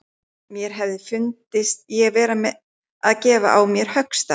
Mér hefði fundist ég vera að gefa á mér höggstað.